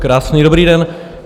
Krásný dobrý den.